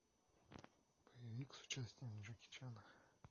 боевик с участием джеки чана